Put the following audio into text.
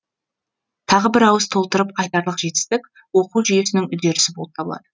тағы бір ауыз толтырып айтарлық жетістік оқу жүйесінің үдерісі болып табылады